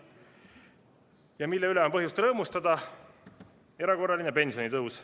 Ja mille üle on põhjust rõõmustada: erakorraline pensionitõus.